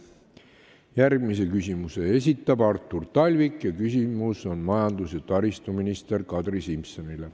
Järgmise küsimuse esitab Artur Talvik ning küsimus on majandus- ja taristuminister Kadri Simsonile.